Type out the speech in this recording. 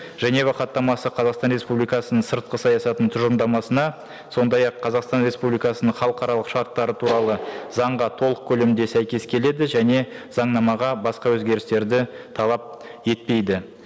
женева хаттамасы қазақстан республикасының сыртқы саясатының тұжырымдамасына сондай ақ қазақстан республикасының халықаралық шарттары туралы заңға толық көлемде сәйкес келеді және заңнамаға басқа өзгерістерді талап етпейді